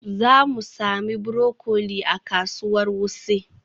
Za mu sami broccoli a kasuwar Wuse.